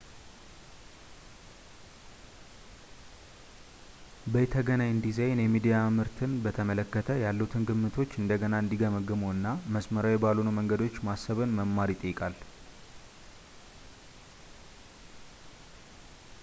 በይነተገናኝ ዲዛይን የሚዲያ ምርትን በተመለከተ ያለዎትን ግምቶች እንደገና እንዲገመግሙ እና መስመራዊ ባልሆኑ መንገዶች ማሰብን መማር ይጠይቃል